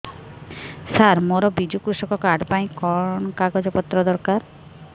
ସାର ମୋର ବିଜୁ କୃଷକ କାର୍ଡ ପାଇଁ କଣ କାଗଜ ପତ୍ର ଦରକାର